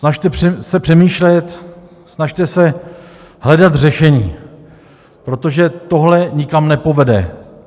Snažte se přemýšlet, snažte se hledat řešení, protože tohle nikam nepovede.